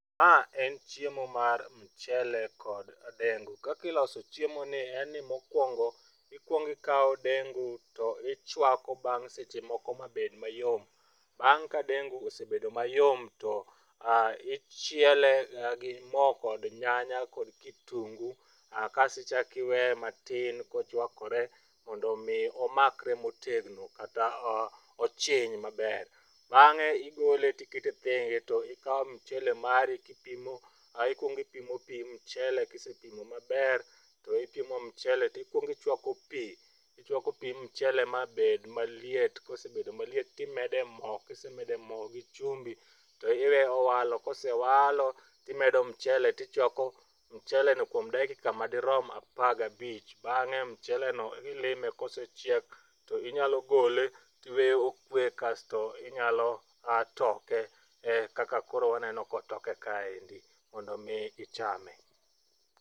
Ma en chiemo mar michele kod dengu. Kaka iloso chiemoni en ni mokuongo ikuongo ikawo dengu to ichuako bang' seche moko mabed mayom. Bang' ka dengu osebedo mayom, to ichiele gi mo kod nyanya kod kitungu kasto ichako iweye matin kochuakore mondo mi omakre motegno kata ochwiny maber. Bang'e igole to ikete thenge to ikawo michele mari to ikuongo ipimo pi michele ka isepimo maber to ipimo michele ikuongo ichuako pi ichuako pi michele mabed maliet kosebedo maliet to imede mo ka ise mede mo gi chumbi to iweye owalo ka ose walo to imedo michele to ichuakomicheleno kuomo dakika madirom apar gabich bang'e micheleno ilime ka osechiek to inyalo gole iweye okwe kasto inyalo toke eka kaka koro waneno ka otoke kaendi mondo mi ichame.